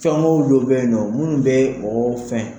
Fɛngɛw dɔ be yen nɔ minnu bɛe mɔgɔ fɛn